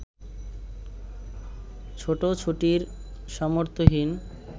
ছুটোছুটির সামর্থ্যহীন